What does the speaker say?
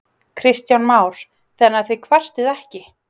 Kristján Már: Þannig að þið kvartið ekki?